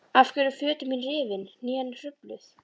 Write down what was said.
Af hverju eru fötin rifin, hnén hrufluð?